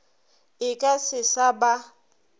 e ka se sa ba